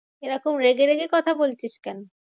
এরকম রেগে রেগে কথা বলছিস কেন?